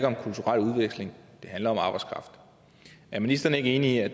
om kulturel udveksling det handler om arbejdskraft er ministeren ikke enig i at